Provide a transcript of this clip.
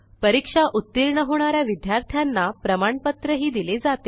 परीक्षा उत्तीर्ण होणा या विद्यार्थ्यांना प्रमाणपत्रही दिले जाते